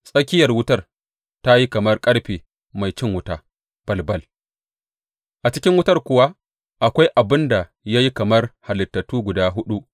Tsakiyar wutar ta yi kamar ƙarfe mai cin wuta balbal, a cikin wutar kuwa akwai abin da ya yi kamar halittu guda huɗu.